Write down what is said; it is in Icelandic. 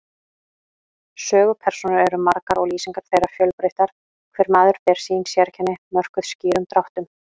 Sögupersónur eru margar og lýsingar þeirra fjölbreyttar, hver maður ber sín sérkenni, mörkuð skýrum dráttum.